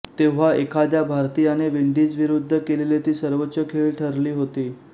तेव्हा एखाद्या भारतीयाने विंडीजविरुद्ध केलेली ती सर्वोच्च खेळी ठरली होती